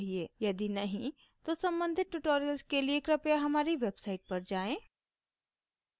यदि नहीं तो सम्बंधित tutorials के लिए कृपया हमारी website पर जाएँ